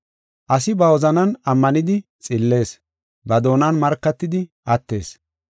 Asi ba wozanan ammanidi xillees; ba doonan markatidi attees.